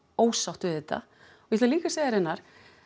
ósátt við þetta ég ætla líka segja þér Einar